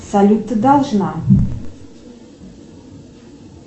салют ты должна